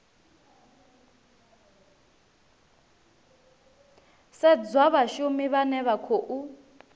sedzwa vhashumi vhane vha khou